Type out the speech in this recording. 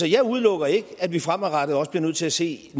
jeg udelukker ikke at vi fremadrettet også bliver nødt til at se